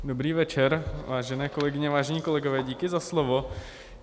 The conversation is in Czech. Dobrý večer, vážené kolegyně, vážení kolegové, díky za slovo.